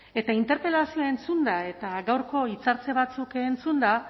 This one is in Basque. eta interpelazioa entzunda eta gaurko hitzartze batzuk entzunda